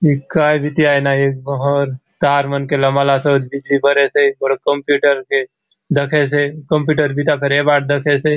ए काय बीती आय ना ए बहुत तार मन के लमाला सोत बिजली बरे से गोटोक कंप्यूटर के दखेसे कंप्युटर बिता फेर ए बाट दखेसे।